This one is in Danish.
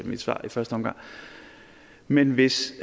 mit svar i første omgang men hvis